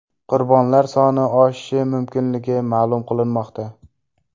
Qurbonlar soni oshishi mumkinligi ma’lum qilinmoqda.